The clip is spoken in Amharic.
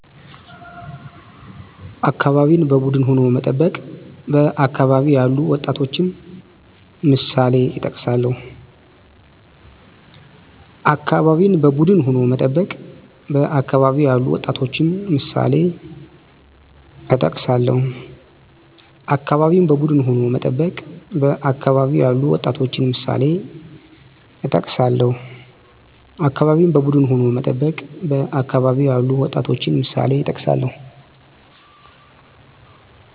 አካባቢን በቡድን ሁኖ መጠበቅ በአካባቢ ያሉ ወጣቶችንምሳሌእጠቅሳለሁ